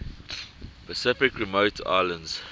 pacific remote islands